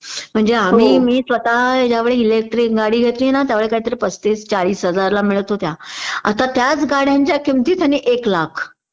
म्हणजे आम्ही मी स्वतः ज्यावेळी इलेक्ट्रिक गाडी घेतली ना त्यावेळी काहीतरी पस्तीस चाळीस हजारला मिळत होत्या आता त्याच गाड्यांच्या किमती एक लाख